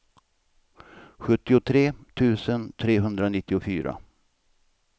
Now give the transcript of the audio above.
sjuttiotre tusen trehundranittiofyra